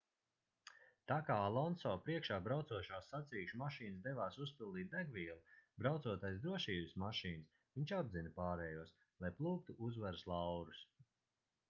tā kā alonso priekšā braucošās sacīkšu mašīnas devās uzpildīt degvielu braucot aiz drošības mašīnas viņš apdzina pārējos lai plūktu uzvaras laurus